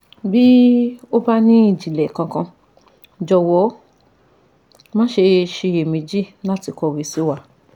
Bí o bá ní ìjìnlẹ̀ kankan, jọ̀wọ́ má ṣe ṣiyè méjì láti kọ̀wé sí wa